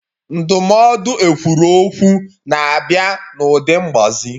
Ndụmọdụ ekwuru okwu na-abịa n'ụdị mgbazi.